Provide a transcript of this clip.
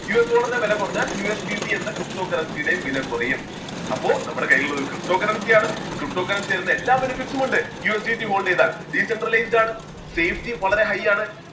USDollar ന്റെ വിലകുറഞ്ഞാൽ USBT എന്ന ptocurrency യുടെയും വിലകുറയും അപ്പോ നമ്മുടെ കയ്യിലുള്ളത് ptocurrency യാണ് ptocurrency തരുന്ന എല്ലാ benefit സും ഉണ്ട് USBTHold ചെയ്താൽ decentralized ആണ് safety വളരെ high യാണ്